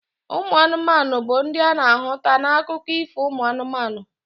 Ụmụ anụmanụ bu ndi ana ahụta na akụkọ Ifo umu anumanu.